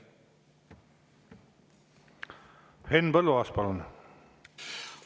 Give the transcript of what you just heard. Henn Põlluaas, palun!